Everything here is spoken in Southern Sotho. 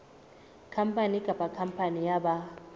khampani kapa khampani ya ba